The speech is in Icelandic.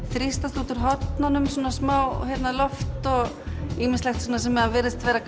þrýstist út úr hornunum smáloft og ýmislegt sem virðist vera